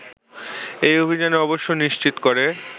এই অভিযানে অবশ্য নিশ্চিত করে